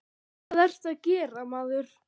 Hvað ertu að gera, maður?